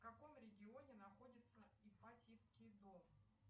в каком регионе находится ипатьевский дом